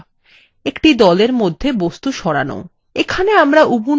একটি দলের মধ্যে বস্তু সরান